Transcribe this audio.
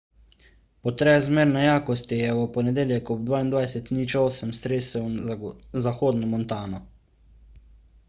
potres zmerne jakosti je v ponedeljek ob 22.08 stresel zahodno montano